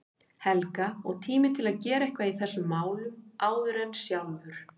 Helga, og tími til að gera eitthvað í þessum málum áður en sjálfur